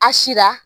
A sira